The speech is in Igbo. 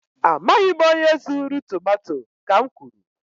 Amaghị m onye zuru tomato, ka m kwuru